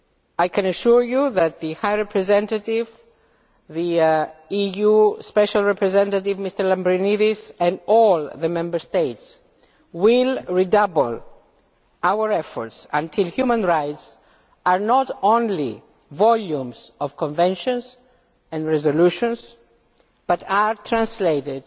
I can assure you that the High Representative, the EU Special Representative Mr Lambrinidis and all the Member States will redouble our efforts until human rights are not only volumes of conventions and resolutions, but are translated